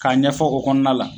K'a ɲɛfɔ o kɔnɔna la